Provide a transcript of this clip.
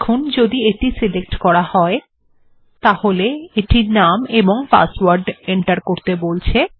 এখন যদি এটি নির্বাচন করা হয় তাহলে এটি নাম এবং পাসওয়ার্ড দিতে বলবে